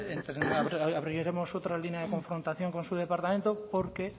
abriremos otra línea de confrontación con su departamento porque